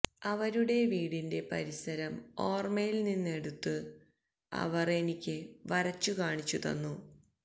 അവരുടെ വീടിന്റെ പരിസരം ഓര്മയില് നിന്നെടുത്ത് അവര് എനിക്ക് വരച്ചു കാണിച്ചു തന്നു